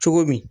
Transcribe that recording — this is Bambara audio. Cogo min